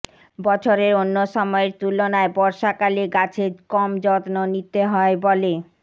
বছরের অন্য সময়ের তুলনায় বর্ষাকালে গাছের কম যত্ন নিতে হয় বলে